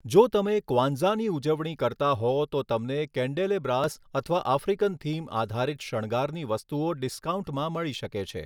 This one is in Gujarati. જો તમે ક્વાન્ઝાની ઉજવણી કરતા હો તો તમને કેન્ડેલેબ્રાસ અથવા આફ્રિકન થીમ આધારિત શણગારની વસ્તુઓ ડિસ્કાઉન્ટમાં મળી શકે છે.